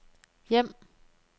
hjem